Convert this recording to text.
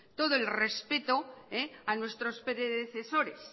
todo el respeto a nuestros predecesores